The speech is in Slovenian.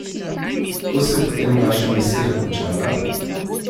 Kako se je potem vaša misija končala?